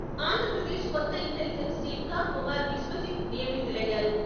ఆంధ్రప్రదేశ్ కొత్త ఇంటిలిజెన్స్ చీఫ్గా కుమార్ విశ్వజిత్ నియమితులయ్యారు.